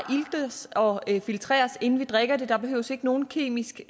iltes og filtreres inden vi drikker det der behøves ikke nogen kemisk